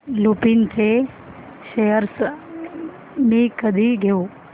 लुपिन चे शेअर्स मी कधी घेऊ